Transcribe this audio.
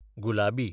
गुलाबी